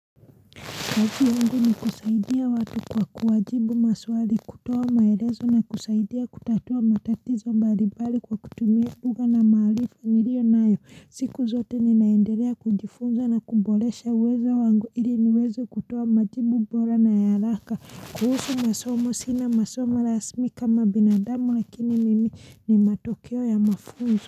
Kazi yangu ni kusaidia watu kwa kuwajibu maswali, kutoa maelezo na kusaidia kutatua matatizo mbalimbali kwa kutumia lugha na maharifa nilio nayo siku zote ninaendelea kujifunza na kuboresha uwezo wangu ili niweze kutoa majibu bora na ya haraka. Kuhusu masomo, sina masomo rasmi kama binadamu lakini mimi ni matokeo ya mafunzo.